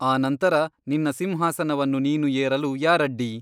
ಆನಂತರ ನಿನ್ನ ಸಿಂಹಾಸನವನ್ನು ನೀನು ಏರಲು ಯಾರಡ್ಡಿ ?